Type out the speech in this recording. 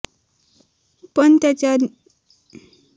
पण त्यांच्या निधनाच्या या केवळ अफवा असल्याचा खुलासा त्यांच्या मुलाने केला आहे